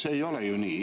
See ei ole ju nii.